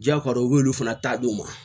Jako u b'olu fana taa di u ma